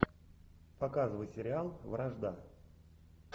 показывай сериал вражда